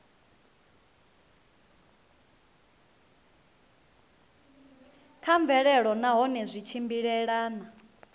kha mvelelo nahone zwi tshimbilelana